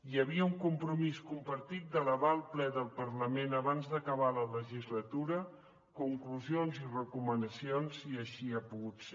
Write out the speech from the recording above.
hi havia un compromís compartit d’elevar al ple del parlament abans d’acabar la legislatura conclusions i recomanacions i així ha pogut ser